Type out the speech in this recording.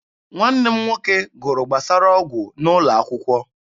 Nwanne m nwoke gụrụ gbasara ọgwụ n'ụlọ akwụkwọ.